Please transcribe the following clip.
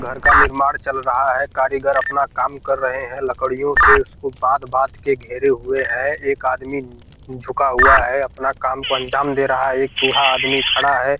घर का निर्माण चल रहा है कारीगर अपना काम कर रहे हैं लकड़ियों से उसको बांध बांध के घेरे हुए हैं एक आदमी उम्म झुका हुआ है अपना काम को अंजाम दे रहा है एक बूढ़ा आदमी खड़ा है।